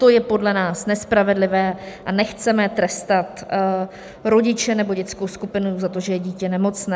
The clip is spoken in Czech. To je podle nás nespravedlivé a nechceme trestat rodiče nebo dětskou skupinu za to, že je dítě nemocné.